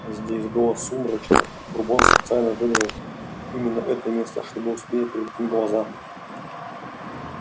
здесь было сумрачно и бурбон специально выбрал именно это место чтобы успели привыкнуть глаза